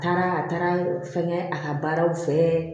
Taara a taara fɛnkɛ a ka baaraw fɛ